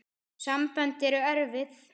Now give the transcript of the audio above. Sambönd eru erfið!